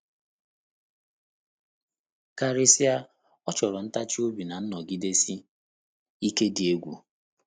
Karịsịa, ọ chọrọ ntachi obi na nnọgidesi ike dị ukwuu.